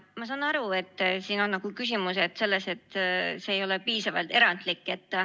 Ma saan aru, et siin on küsimus selles, et see ei ole piisavalt erandlik.